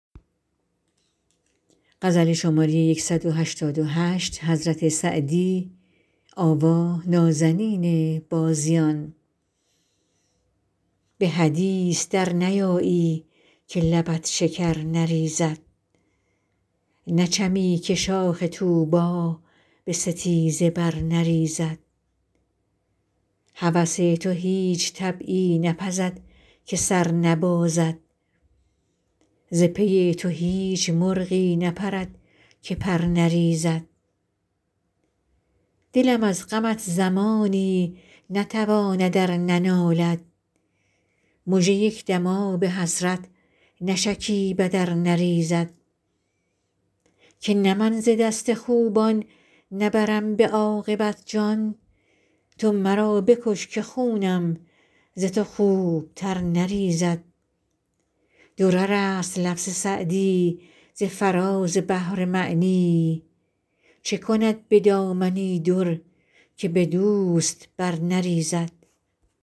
به حدیث در نیایی که لبت شکر نریزد نچمی که شاخ طوبی به ستیزه بر نریزد هوس تو هیچ طبعی نپزد که سر نبازد ز پی تو هیچ مرغی نپرد که پر نریزد دلم از غمت زمانی نتواند ار ننالد مژه یک دم آب حسرت نشکیبد ار نریزد که نه من ز دست خوبان نبرم به عاقبت جان تو مرا بکش که خونم ز تو خوبتر نریزد درر است لفظ سعدی ز فراز بحر معنی چه کند به دامنی در که به دوست بر نریزد